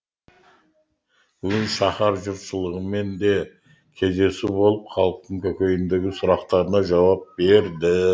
бүгін шаһар жұртшылығымен де кездесу болып халықтың көкейіндегі сұрақтарына жауап берді